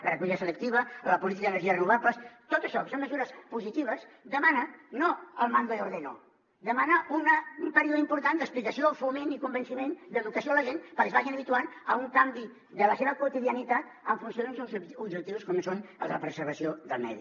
la recollida selectiva la política d’energies renovables tot això que són mesures positives demana no el mando y ordeno demana un període important d’explicació foment i convenciment d’educació a la gent perquè es vagin habituant a un canvi de la seva quotidianitat en funció d’uns objectius com és el de la preservació del medi